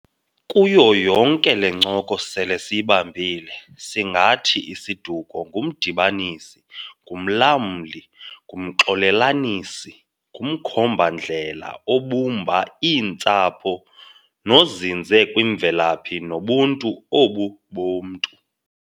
Kuyo yonke le ncoko sele siyibambile, singathi isiduko ngumdibanisi, ngumlamli, ngumxolelanisi, ngumkhomba-ndlela obumba iintsapho nozinze kwimvelaphi nobuntu obu bomntu.